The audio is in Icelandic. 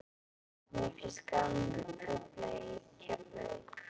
Mér finnst gaman að tefla í Keflavík.